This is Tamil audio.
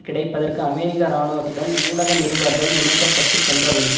கிடைப்பதற்கு அமெரிக்க ராணுவத்துடன் ஊடக நிருபர்கள் இணைக்க பட்டு சென்றபொழுது